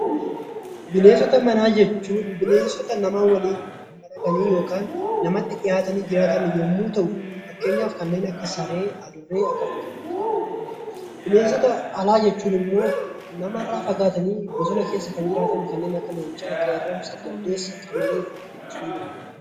Bineensota manaa jechuun bineensota nama waliin walitti dhiyaatan yommuu ta'u fakkeenyaaf kanneen akka saree, adurreeti . Bineensota alaa jechuun immoo namartaa fagaatanii bosina keessa kanneen jiraatan kanneen akka leencaa qeerransa , jaldeessa, qamaleefa kaasuu ni dandeenya